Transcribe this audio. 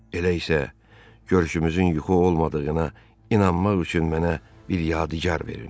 Elə isə, görüşümüzün yuxu olmadığına inanmaq üçün mənə bir yadigar verin.